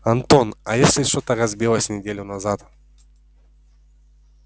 антон а если что-то разбилось неделю назад